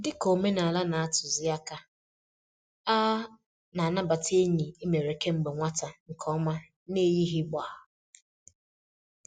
Dị ka omenala na-atuzi àkà, a na-anabata enyi e mere kemgbe nwata nke ọma n'eyighị gbá.